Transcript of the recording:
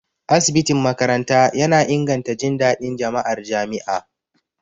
Asibitin makaranta yana inganta jin daɗin jama'ar jami'a.